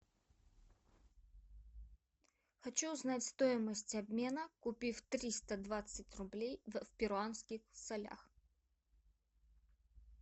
хочу узнать стоимость обмена купив триста двадцать рублей в перуанских солях